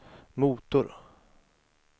motor